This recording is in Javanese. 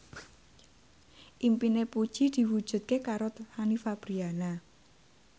impine Puji diwujudke karo Fanny Fabriana